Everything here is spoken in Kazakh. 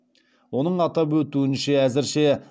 оның атап өтуінше әзірше